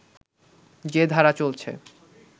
যে ধারা চলছে